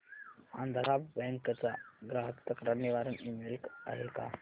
Andhra bank चा ग्राहक तक्रार निवारण ईमेल आहे का